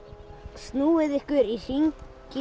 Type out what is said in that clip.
snúið ykkur í hring